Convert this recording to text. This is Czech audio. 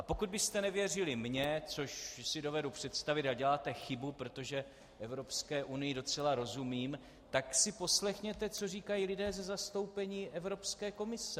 A pokud byste nevěřili mně, což si dovedu představit, a děláte chybu, protože Evropské unii docela rozumím, tak si poslechněte, co říkají lidé ze zastoupení Evropské komise.